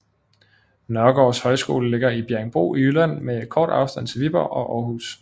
Nørgaards Højskole ligger i Bjerringbro i Jylland med kort afstand til Viborg og Århus